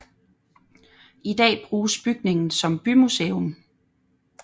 I dag bruges bygningen som bymuseum